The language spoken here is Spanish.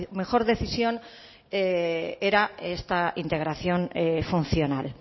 mejor decisión era esta integración funcional